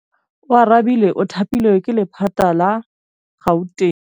Oarabile o thapilwe ke lephata la Gauteng.